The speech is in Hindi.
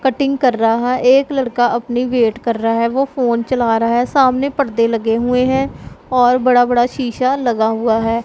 कटिंग कर रहा एक लड़का अपनी वेट कर रहा है वो फोन चला रहा है सामने पर्दे लगे हुए हैं और बड़ा बड़ा शीशा लगा हुआ है।